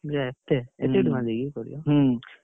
ଇଏ ଏତେ